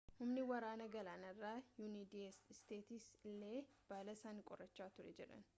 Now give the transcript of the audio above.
humni waraana galaanarraa yuunaayitid isteetsi illee balaa san qorachaa turre jedhan